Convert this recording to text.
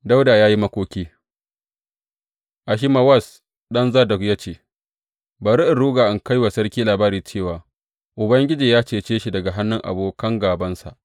Dawuda ya yi makoki Ahimawaz ɗan Zadok ya ce, Bari in ruga in kai wa sarki labari cewa Ubangiji ya cece shi daga hannun abokan gābansa.